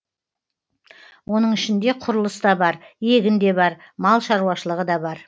оның ішінде құрылыс та бар егін де бар мал шаруашылығы да бар